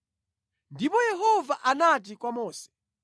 Ndipo Yehova anati kwa Mose,